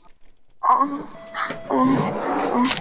En enginn sat í horninu hjá píanóinu.